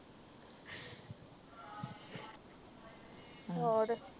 ਹੋਰ